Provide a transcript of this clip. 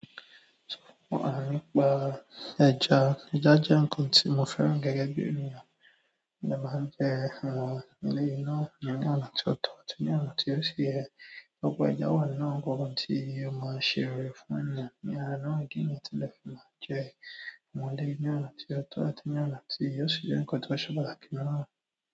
Sọ fún mi pa ẹja, ẹja jẹ nǹkan tí mo fẹ́ràn gẹ́gẹ́ bí ènìyàn. Mo dẹ máa ń jẹ àwọn eléyi náà ni ọ̀nà tí o tọ àti ní ọ̀nà tí o ṣi yẹ. Ọpọ ẹja wà nínú nǹkankan tí o má ṣe ọ̀rẹ́ fún ènìyàn. Ní ara náà kí èèyàn tilẹ mọ je àwọn eléyi ni ọ̀nà tí o tọ àti ní ọ̀nà tí o ṣi jẹ nǹkan tí o ṣe pàtàkì náà.